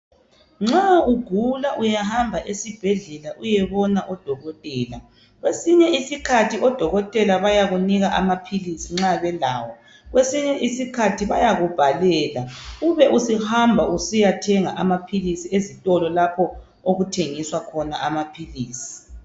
Nxa ugula uyahamba esibhedlela uyebona odokotela, kwesinye isikhathi odokotela bayakunika amaphilisi nxa belawo. Kwesinye isikhathi bayakubhalela ube usuhamba susiyathenga amaphilisi ezitolo lapho okuthengiswa khona amaphilisi.